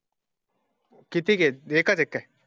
किती आहे ते काय?